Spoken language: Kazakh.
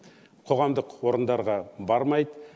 қоғамдық орындарға бармайды